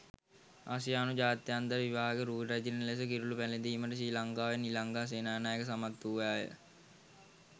ආසියානු ජාත්‍යන්තර විවාහක රූ රැජිණ ලෙස කිරුළු පැලැදීමට ශ්‍රී ලංකාවේ නිලංගා සේනානායක සමත් වූවාය.